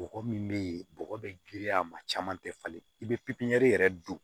Bɔgɔ min bɛ yen bɔgɔ bɛ giriya a ma caman tɛ falen i bɛ yɛrɛ don